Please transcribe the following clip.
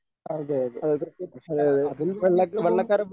അതെ അതെ അതിൽ നിന്നേറ്റവും